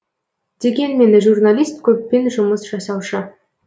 дегенмен журналист көппен жұмыс жасаушы